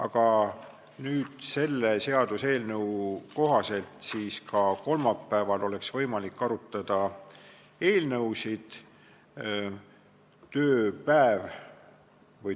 Aga selle seaduseelnõu kohaselt oleks ka esmaspäeval võimalik arutada eelnõusid.